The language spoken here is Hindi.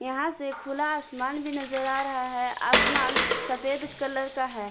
वहां से खुला आसमान भी नजर आ रहा है आसमान सफेद कलर का है।